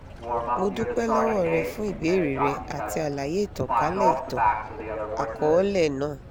mo dupẹ lọwọ rẹ fun ibeere rẹ ati alaye itankalẹ itan-akọọlẹ naa